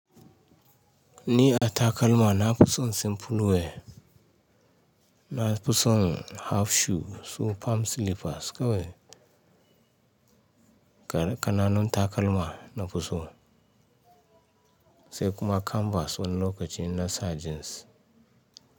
Ni a takalma nafuson simple wear nafuson half shoe su palm slippers kawai. Kananun takalma nafusso sai kuma canvas wani lokacin na sa jeans.